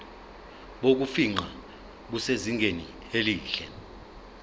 bokufingqa busezingeni elihle